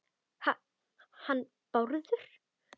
Ha- hann Bárður?